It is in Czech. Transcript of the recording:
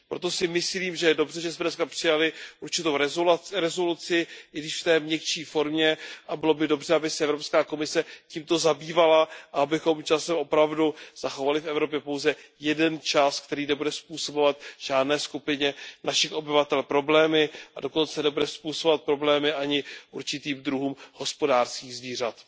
Proto si myslím, že je dobře, že jsme dneska přijali určitou rezoluci, i když v té měkčí formě, a bylo by dobře, aby se Evropská komise tímto zabývala a abychom časem opravdu zachovali v Evropě pouze jeden čas, který nebude způsobovat žádné skupině našich obyvatel problémy a dokonce nebude způsobovat problémy ani určitým druhům hospodářských zvířat.